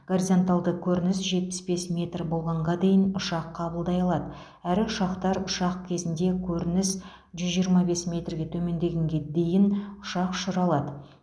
горизонталды көрініс жетпіс бес метр болғанға дейін ұшақ қабылдай алады әрі ұшақтар ұшқан кезінде көрініс жүз жиырма бес метрге төмендегенге дейін ұшақ ұшыра алады